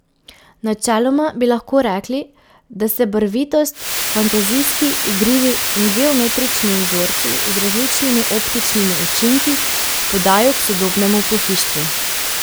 Načeloma bi lahko rekli, da se barvitost, fantazijski, igrivi in geometrični vzorci z različnimi optičnimi učinki podajo k sodobnemu pohištvu.